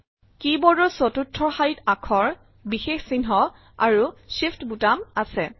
কী বোৰ্ডৰ চতুৰ্থ শাৰীত আখৰ বিশেষ চিহ্ন আৰু Shift বুটাম আছে